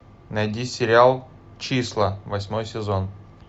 найди сериал числа восьмой сезон